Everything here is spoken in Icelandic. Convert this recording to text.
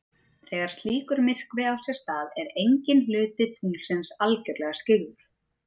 Þegar slíkur myrkvi á sér stað er enginn hluti tunglsins algjörlega skyggður.